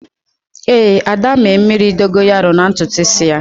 Éè, Ada mee mmiri Dogonyaro na ntutu isi ya